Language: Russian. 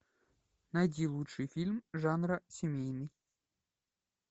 найди лучший фильм жанра семейный